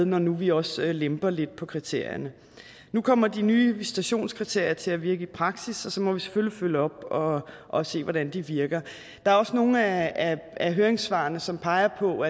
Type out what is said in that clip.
når nu vi også lemper lidt på kriterierne nu kommer de nye visitationskriterier til at virke i praksis og så må vi selvfølgelig følge op og se hvordan de virker der er nogle af høringssvarene som peger på